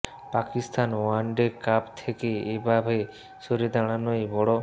Pakistan one day cup থেকে এ ভাবে সরে দাঁড়ানোয় বড়